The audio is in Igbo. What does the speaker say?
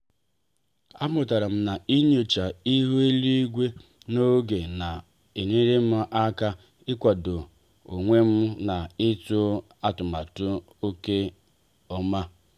a mụtara m ịnyocha ịhu eluigwe n'oge ọ na-enyere m aka ị kwado onwem na ịtụ atụmatụ nke ọma.